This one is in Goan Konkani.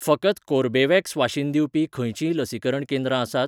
फकत कोर्बेवॅक्स वाशीन दिवपी खंयचींय लसीकरण केंद्रां आसात?